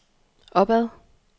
opad